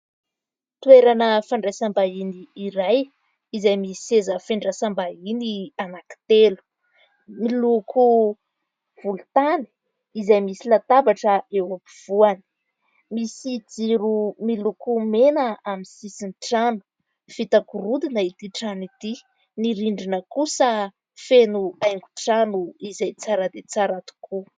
Toerana fandraisam-bahiny iray izay misy seza fiandrasam-bahiny anakitelo miloko volotany izay misy latabatra eo ampovoany, misy jiro miloko mena amin'ny sisin'ny trano, vita gorodona ity trano ity, ny rindrina kosa feno haingo-trano izay tsara dia tsara tokoa.